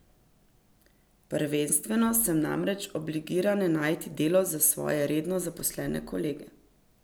Prvenstveno sem namreč obligirana najti delo za svoje redno zaposlene kolege.